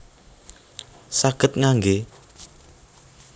Saged ngangge